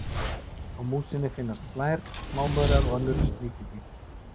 Á músinni finnast flær, smámaurar og önnur sníkjudýr.